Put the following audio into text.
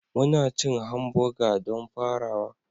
Muna cin hamburger don farawa